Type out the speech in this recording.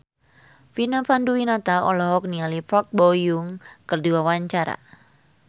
Vina Panduwinata olohok ningali Park Bo Yung keur diwawancara